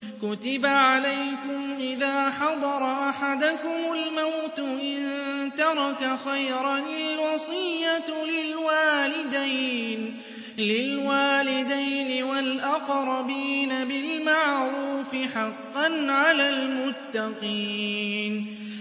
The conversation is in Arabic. كُتِبَ عَلَيْكُمْ إِذَا حَضَرَ أَحَدَكُمُ الْمَوْتُ إِن تَرَكَ خَيْرًا الْوَصِيَّةُ لِلْوَالِدَيْنِ وَالْأَقْرَبِينَ بِالْمَعْرُوفِ ۖ حَقًّا عَلَى الْمُتَّقِينَ